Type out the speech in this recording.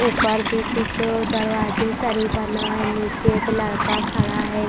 ऊपर भी कुछ दरवाजे सारी बना है नीचे एक लड़का खड़ा है।